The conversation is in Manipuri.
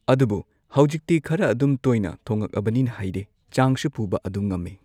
ꯑꯗꯨꯕꯨ ꯍꯧꯖꯤꯛꯇꯤ ꯈꯔ ꯑꯗꯨꯝ ꯇꯣꯏꯅ ꯊꯣꯡꯉꯛꯑꯕꯅꯤꯅ ꯍꯩꯔꯦ ꯆꯥꯡꯁꯨ ꯄꯨꯕ ꯑꯗꯨꯝ ꯉꯝꯃꯦ